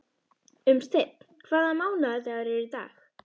Unnsteinn, hvaða mánaðardagur er í dag?